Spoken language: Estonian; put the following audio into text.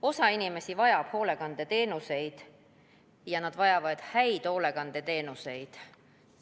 Osa inimesi vajab hoolekandeteenuseid ja nad vajavad häid hoolekandeteenuseid.